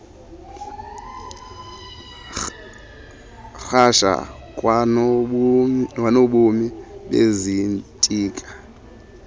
rhasha kwanobomi bezitika